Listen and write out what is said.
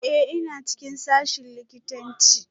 Ee, ina cikin sashen likitanci